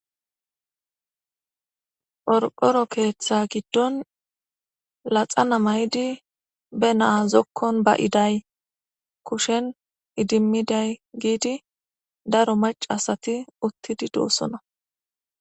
Qorqory keththa gidon daro macca assathi uttidi dossona. Entikka naxxala mayidi dossonna.